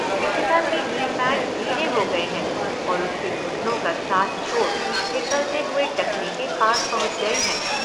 इशिता के knee pads ढीले हो गये हैं और उसके घुटनों का साथ छोड़, फिसलते हुए टखने के पास पहुँच गये हैं।